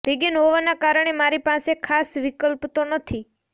vegan હોવાના કારણે મારી પાસે ખાસ વિકલ્પ તો નથી